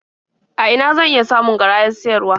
A ina zan iya samun garayar siyarwa?